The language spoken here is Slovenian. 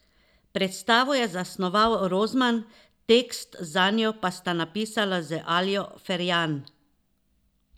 Predstavo je zasnoval Rozman, tekst zanjo pa sta napisala z Aljo Ferjan.